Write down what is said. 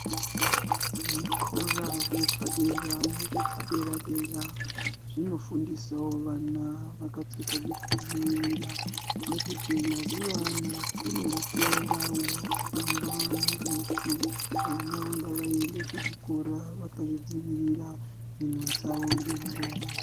Zvikora zvepadera nezvepadera-dera zvinofundisawo vana vakapfeka zvekudziirira. Nekuti mazuvano kune hutenda hunofamba nedutu. Vana ngavaende kuzvikora vakazvidzivirira mhino dzavo ngemuromo.